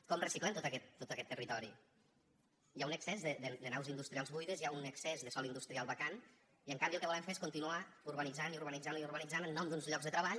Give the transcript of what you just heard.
com reciclem tot aquest territori hi ha un excés de naus industrials buides hi ha un excés de sòl industrial vacant i en canvi el que volen fer és continuar urbanitzant i urbanitzant i urbanitzant en nom d’uns llocs de treball